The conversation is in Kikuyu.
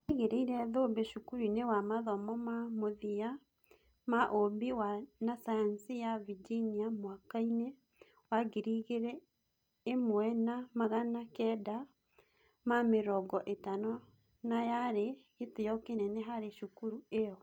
Niagĩire thũmbĩ cukuruinĩ wa Mathomo ma mũthia ma ũũmbi na sayansi ya Virginia mwaka inĩ wa ngiri ĩmwe na magana kenda ma mĩrongo ĩtano na yarĩ gĩtĩo kĩnene harĩ cukuru ĩo